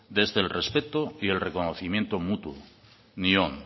desde el respeto y el reconocimiento mutuo nion